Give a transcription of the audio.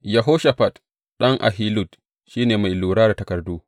Yehoshafat ɗan Ahilud, shi ne mai lura da takardu.